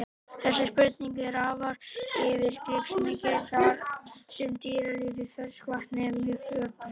Þessi spurning er afar yfirgripsmikil þar sem dýralíf í ferskvatni er mjög fjölbreytt.